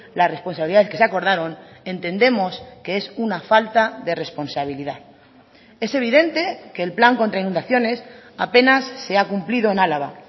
la responsabilidades que se acordaron entendemos que es una falta de responsabilidad es evidente que el plan contra inundaciones apenas se ha cumplido en álava